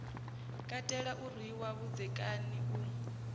katela u rwiwa vhudzekani u